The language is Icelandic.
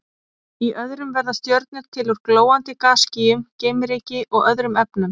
Í öðrum verða stjörnur til úr glóandi gasskýjum, geimryki og öðrum efnum.